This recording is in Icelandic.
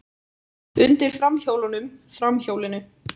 Undir framhjólunum, framhjólinu.